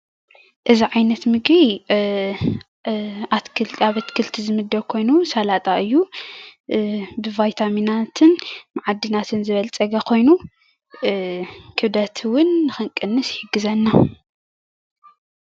እዚ ዓይነት ምግቢ ኣብ ኣትክልቲ ዝምደብ ኮይኑ ሳላጣ እዩ፡፡ ብቫይታሚናትን መዓድናትን ዝበልፀገ ኾይኑ ክብደት እዉን ንኽንቅንስ ይሕግዘና፡፡